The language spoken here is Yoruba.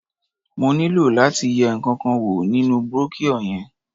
Mo nílò láti yẹ ǹkankan wò nínú brochure yẹn.